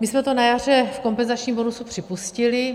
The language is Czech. My jsme to na jaře v kompenzačním bonusu připustili.